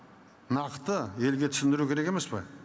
нақты елге түсіндіру керек емес пе